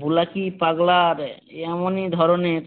বুলাকী পাগলা এমনই ধরণের